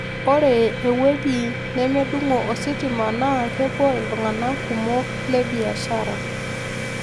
Ore ewuoei nemedung'o ositima naa kepuo iltung'anak kumok le biashara